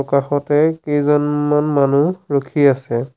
কাষতে কেইজনমান মানুহ ৰখি আছে।